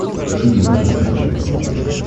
покажи мне радость моя на смотрешке